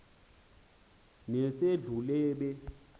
nesedlulube